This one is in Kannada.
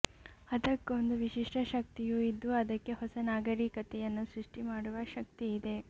ಅದಕ್ಕೊಂದು ವಿಶಿಷ್ಠ ಶಕ್ತಿಯೂ ಇದ್ದು ಅದಕ್ಕೆ ಹೊಸ ನಾಗರೀಕತೆಯನ್ನು ಸೃಷ್ಠಿ ಮಾಡುವ ಶಕ್ತಿ ಇದೆ